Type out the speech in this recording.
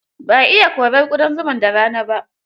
Ba a iya korar ƙudan zumar da rana ba.